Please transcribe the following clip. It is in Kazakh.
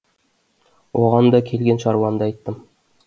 оған да келген шаруамды айттым